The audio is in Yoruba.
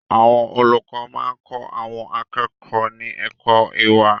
Àwọn olùkọ́ máa kọ àwọn akẹ́kọ̀ọ́ ní ẹ̀kọ́ ìwà.